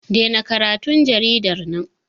Dena karatun jaridar nan!